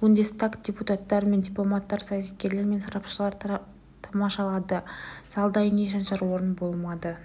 бундестаг депутаттары мен дипломаттар саясаткерлер мен сарапшылар тамашалады залда ине шаншар орын болмады